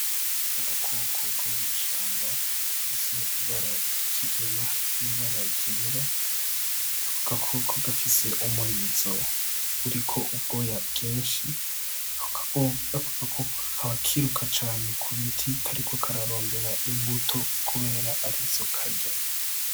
Agakoko ko mw'ishamba gafise ibara ryikigina , n'ibara ryera ako gakoko gafise umurizo uriko ubgoya bginshi ako gakoko kakaba kiruka cane ku biti kariko kararondera imbuto kubera arizo karya .